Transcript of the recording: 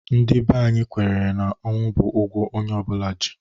Ndị bè anyị kwenyere na ọnwụ bụ ụgwọ onye ọ bụla ji.